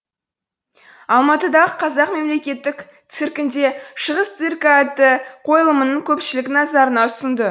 алматыдағы қазақ мемлекеттік циркінде шығыс циркі атты қойылымын көпшілік назарына ұсынды